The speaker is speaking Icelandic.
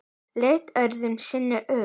Leit öðru sinni upp.